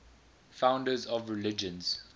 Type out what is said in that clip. founders of religions